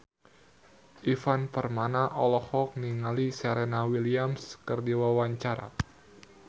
Ivan Permana olohok ningali Serena Williams keur diwawancara